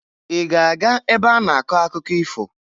Ị ga-aga ebe a na-akọ akụkọ ifo?